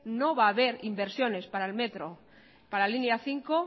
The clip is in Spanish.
no va a haber inversiones para el metro para la línea cinco